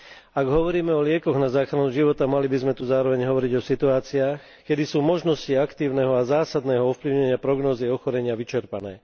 Ak hovoríme o liekoch na záchranu života, mali by sme tu zároveň hovoriť o situáciách, keď sú možnosti aktívneho a zásadného ovplyvnenia prognózy ochorenia vyčerpané.